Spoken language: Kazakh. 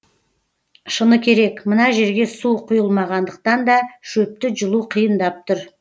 шыны керек мына жерге су құйылмағандықтан да шөпті жұлу қиындап тұр